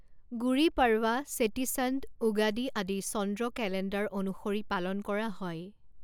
গুড়ী পড়ৱা, চেটিচণ্ড, উগাদি আদি চন্দ্ৰ কেলেণ্ডাৰ অনুসৰি পালন কৰা হয়।